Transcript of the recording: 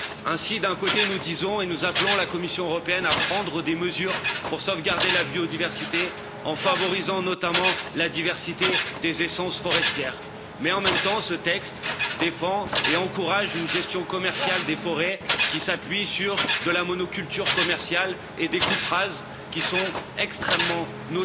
Ainsi, d'un côté, nous disons et nous appelons la Commission européenne à prendre des mesures pour sauvegarder la biodiversité en favorisant notamment la diversité des essences forestières, mais en même temps ce texte défend et encourage une gestion commerciale des forêts, qui s'appuie sur de la monoculture commerciale et des coupes rases extrêmement préjudiciables